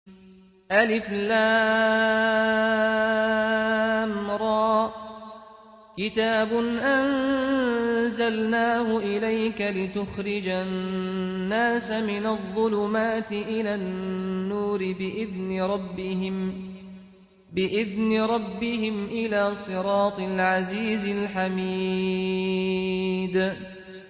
الر ۚ كِتَابٌ أَنزَلْنَاهُ إِلَيْكَ لِتُخْرِجَ النَّاسَ مِنَ الظُّلُمَاتِ إِلَى النُّورِ بِإِذْنِ رَبِّهِمْ إِلَىٰ صِرَاطِ الْعَزِيزِ الْحَمِيدِ